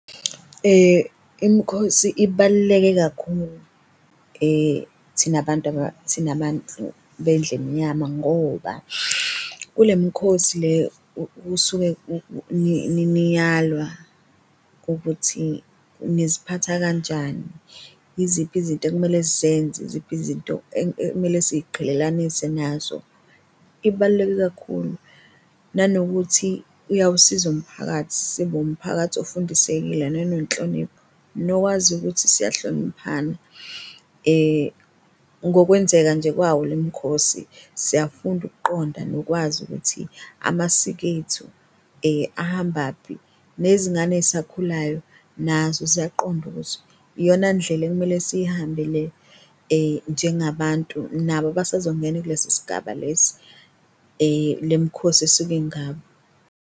Imikhosi ibaluleke kakhulu thina abantu thina abantu bendlu emnyama ngoba kule mikhosi le kusuke niyalwa ukuthi niziphatha kanjani, iziphi izinto ekumele sisenze, iziphi izinto ekumele siyiqhelelanise nazo, ibaluleke kakhulu nanokuthi iyawusiza umphakathi. Sibe umphakathi ofundisekile nenhlonipho nokwazi ukuthi siyahloniphana ngokwenzeka nje kwawo lo mkhosi, siyafunda ukuqonda nokwazi ukuthi amasiko ethu ahambaphi nezingane ey'sakhulayo nazo ziyaqonda ukuthi iyona ndlela ekumele siyihambe le njengabantu nabo abasazongena kulesi sigaba lesi le mikhosi esuke ingabo.